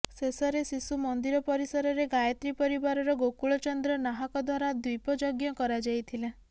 ଶେଷରେ ଶିଶୁ ମନ୍ଦିର ପରିସରରେ ଗାୟତ୍ରୀ ପରିବାରର ଗୋକୁଳ ଚନ୍ଦ୍ର ନାହାକ ଦ୍ୱାରା ଦ୍ୱୀପ ଯଜ୍ଞ କରାଯାଇଥିଲା